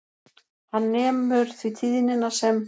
Hann nemur því tíðnina sem